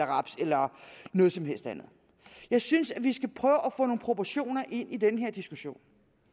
raps eller noget som helst andet jeg synes vi skal prøve at få nogle proportioner ind i denne diskussion